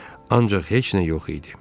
Ancaq heç nə yox idi.